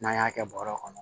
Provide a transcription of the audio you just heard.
N'an y'a kɛ bɔrɛ kɔnɔ